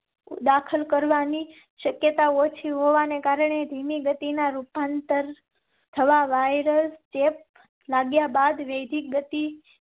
દાખલ કરવાની શક્યતા ઓછી હોવા ને કારણે ધીમી ગતિ ના રૂપાંતર થવા વાયરસ ચેપ લાગ્યા બાદ વેદિક ગતિ